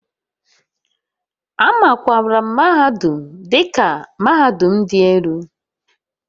A makwaara mahadum dị ka mahadum dị elu